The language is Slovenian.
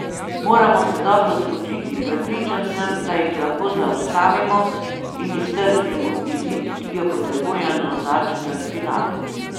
Moramo se dobro spočiti, prepričan sem, da jih lahko zaustavimo in iztržimo izid, ki ga potrebujemo za četrtfinale.